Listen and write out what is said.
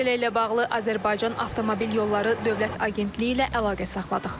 Məsələ ilə bağlı Azərbaycan Avtomobil Yolları Dövlət Agentliyi ilə əlaqə saxladıq.